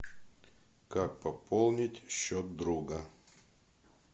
как пополнить счет друга